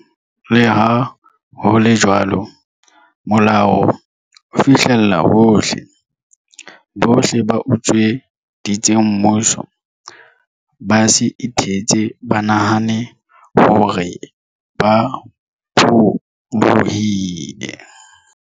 Le ha ho le jwalo, molao o fihlella hohle. Bohle ba utsweditseng mmuso, ba se ithetse ba nahane hore ba pholohile.